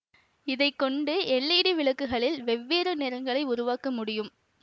இதை கொண்டு எல்ஈடி விளக்குகளில் வெவ்வேறு நிறங்களை உருவாக்க முடியும்